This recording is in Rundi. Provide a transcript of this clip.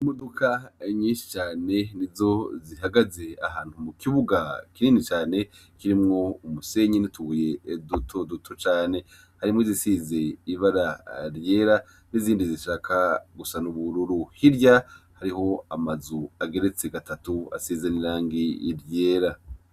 Imodoka yinyinshi cane ni zozihagaze ahantu mu kibuga kinini cane kirimwo umusenyi nituye eduto duto cane harimwo izisize ibara ryera n'izindi zishaka gusana ubururu hirya hariho amazu ageretse gatatu asezanirangi iryera.